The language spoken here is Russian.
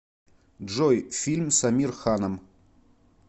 джой фильм с амир ханом